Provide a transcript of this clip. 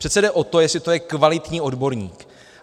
Přece jde o to, jestli to je kvalitní odborník.